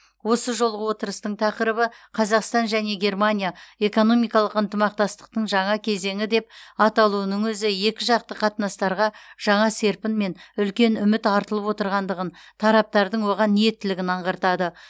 осы жолғы отырыстың тақырыбы қазақстан және германия экономикалық ынтымақтастықтың жаңа кезеңі деп аталуының өзі екіжақты қатынастарға жаңа серпін мен үлкен үміт артылып отырғандығын тараптардың оған ниеттілігін аңғартады